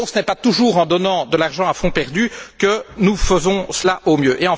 Ce n'est donc pas toujours en donnant de l'argent à fonds perdu que nous faisons cela au mieux.